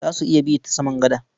Za su iya bi ta saman gada.